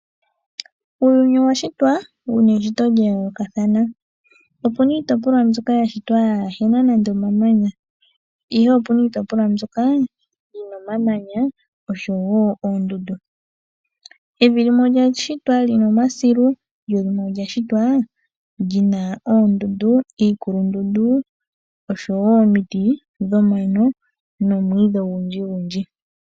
Uuyuni owa shitwa wu na eshito lya yoolokathana. Opu na iitopolwa mbyoka ya shitwa yaa he na nande omamanya, ihe opu na iitopolwa mbyoka yi na omamanya oshowo oondundu. Evi limwe olya shitwa li na omasilu, lyo limwe olya shitwa li na oondundu, iikulundundu oshowo omiti dhomano nomwiidhi ogundjigundji.